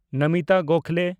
Namita Gokhale